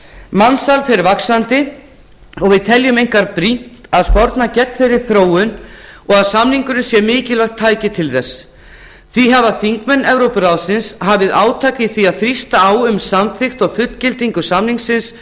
mansal fer vaxandi og við teljum einkar brýnt að sporna geng þeirri þróun og að samningurinn sé mikilvægt tæki til þess því hafa þingmenn evrópuráðsins hafi átak í því að þrýsta á um samþykkt og fullgildingu samningsins